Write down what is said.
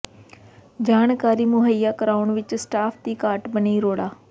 ਜਾਣਕਾਰੀ ਮੁਹੱਈਆ ਕਰਵਾਉਣ ਵਿਚ ਸਟਾਫ ਦੀ ਘਾਟ ਬਣੀ ਰੋੜਾ